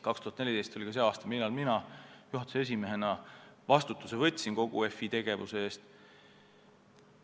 2014 oli ka see aasta, millal mina juhatuse esimehena võtsin vastutuse kogu FI tegevuse eest.